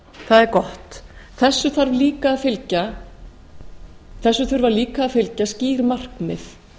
það er gott þessu þurfa líka að fylgja skýr markmið